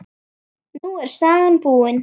Nú er sagan búin.